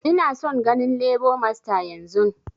Ina son ganin lebo masta yanzun!